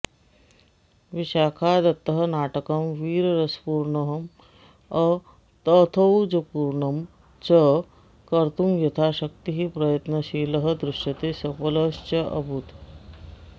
विशाखदत्तः नाटकं वीररसपूर्ण्ंअ तथौजपूर्णं च कर्तुं यथाशाक्तिः प्रयत्नशीलः दृश्यते सफलश्चाभूत्